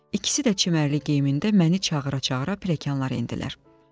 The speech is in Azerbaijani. İkisi də çimərli geyimində məni çağıra-çağıra pilləkanlar endilər.